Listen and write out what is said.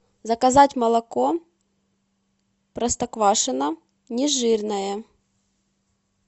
заказать молоко простоквашино нежирное